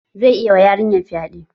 Zai iya wa yarinyan fyaɗe